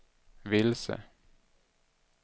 vilse